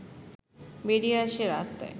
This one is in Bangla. বেরিয়ে আসে রাস্তায়